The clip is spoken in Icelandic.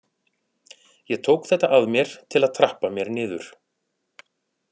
Ég tók þetta að mér til að trappa mér niður.